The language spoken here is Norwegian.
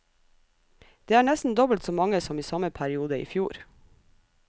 Det er nesten dobbelt så mange som i samme periode i fjor.